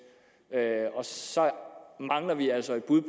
og så mangler vi altså et bud